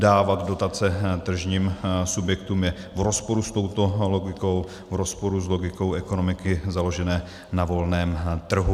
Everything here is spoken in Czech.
Dávat dotace tržním subjektům je v rozporu s touto logikou, v rozporu s logikou ekonomiky založené na volném trhu.